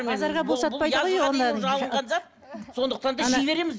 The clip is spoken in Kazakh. базарға бұл сатпайды ғой сондықтан да жей береміз